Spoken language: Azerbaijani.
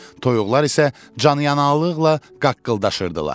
Toyuqlar isə canyanallıqla qaqqıldaşırdılar.